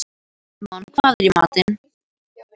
Tímon, hvað er í matinn?